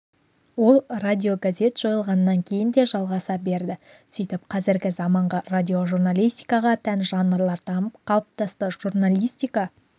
ол радиогазет жойылғаннан кейін де жалғаса берді сөйтіп қазіргі заманғы радиожурналистикаға тән жанрлар дамып қалыптасты журналистика